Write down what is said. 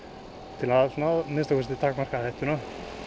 til að minnsta kosti takmarka áhættuna